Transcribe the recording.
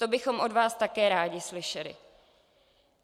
To bychom od vás také rádi slyšeli.